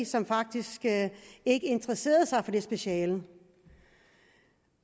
som faktisk ikke interesserede sig for det speciale